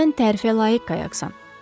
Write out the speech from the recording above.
Sən tərifə layiq qayaqsan.